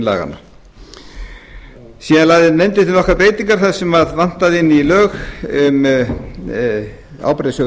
laganna síðan lagði nefndin til nokkrar breytingar þar sem vantaði inn í lög um ábyrgðarsjóð